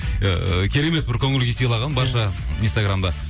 ыыы керемет бір көңіл күй сыйлаған барша инстаграмда